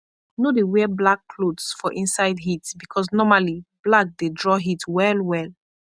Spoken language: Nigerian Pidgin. no dey wear black clothes for inside heat because normally black dey draw heat well well